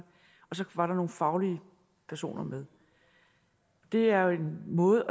så var der nogle faglige personer med det er jo en måde